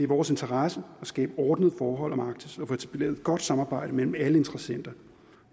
vores interesse at skabe ordnede forhold om arktis og få etableret et godt samarbejde mellem alle interessenter